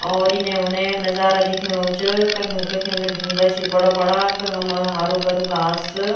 और इने-उने नजारा दिख्येणू च कखिम कखिम ढुंगा छी बड़ा-बड़ा कखम हरु-भरु घास।